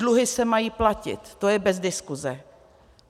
Dluhy se mají platit, to je bez diskuse.